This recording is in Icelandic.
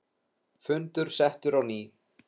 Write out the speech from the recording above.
Fundur settur á ný.